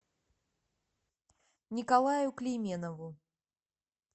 николаю клейменову